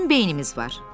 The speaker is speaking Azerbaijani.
Bizim beynimiz var.